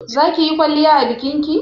zakiyi kwalliya a bikinki?